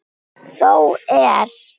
Þó er.